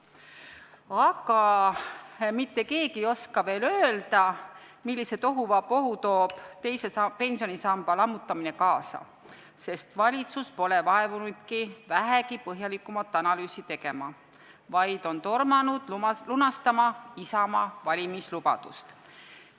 Aga mitte keegi ei oska veel öelda, millise tohuvabohu teise pensionisamba lammutamine kaasa toob, sest valitsus pole vaevunud vähegi põhjalikumat analüüsi tegema, vaid on tormanud lunastama Isamaa valimislubadust.